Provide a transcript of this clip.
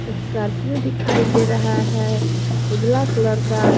Scorpio दिखाई दे रहा है उजला कलर का।